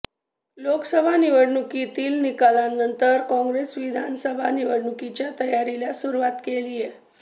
लोकसभा निवडणुकीतील निकालानंतर काँग्रेसनं विधानसभा निवडणुकीच्या तयारीला सुरूवात केलीय